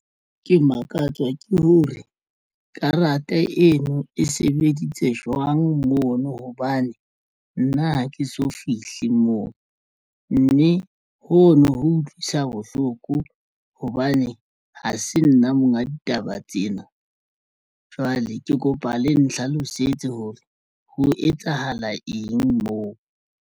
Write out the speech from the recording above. Ke makatswa ke hore karata eno e sebeditse jwang mono hobane nna ha ke so fihle moo mme ho no ho utlwisa bohloko hobane ha se nna monga ditaba tsena. Jwale ke kopa le nhlalosetse hore ho etsahala eng moo.